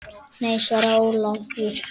Nei, svaraði Ólafur.